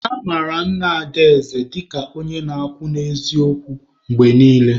A mara Nna Adaeze dịka onye na-akwụ n'eziokwu mgbe niile.